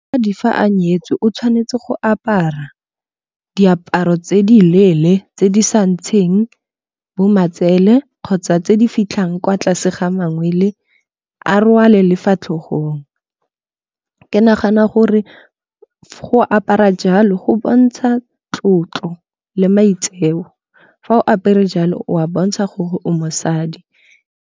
A di fa a nyetswe o tshwanetse go apara diaparo tse di leele tse di sa ntsheng bo matsele kgotsa tse di fitlhang kwa tlase ga mangwele a rwale lefa fa tlhogong. Ke nagana gore go apara jalo go bontsha tlotlo le maitseo fa o apere jalo o a bontsha gore o mosadi.